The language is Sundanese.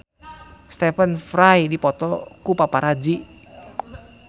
Stephen Fry dipoto ku paparazi